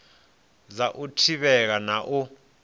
dza u thivhela na u